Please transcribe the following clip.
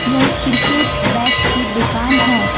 यह cricket bat की दुकान है।